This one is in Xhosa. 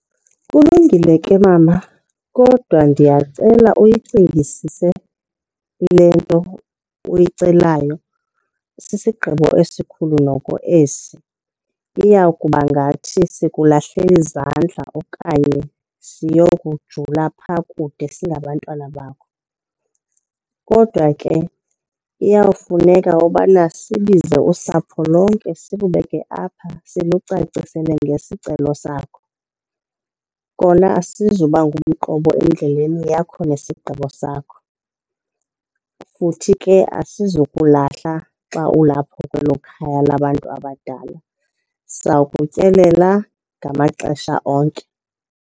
Kulungile ke mama kodwa ndiyacela uyicingisise le nto uyicelayo. Sisigqibo esikhulu noko esi, iya kuba ngathi sikulahlela izandla okanye siyokujula phaa kude singabantwana bakho. Kodwa ke iyawufuneka ubana sibize usapho lonke silubeke apha silucacisele ngesicelo sakho. Kona asizuba ngumqobo endleleni yakho nesigqibo sakho, futhi ke asizokulahla xa ulapho kwelo khaya labantu abadala. Sakutyelela ngamaxesha onke.